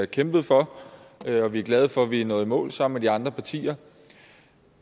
kæmpet for og vi er glade for at vi er nået i mål sammen med de andre partier